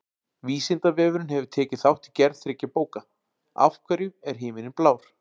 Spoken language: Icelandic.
Vísindavefurinn hefur tekið þátt í gerð þriggja bóka: Af hverju er himinninn blár?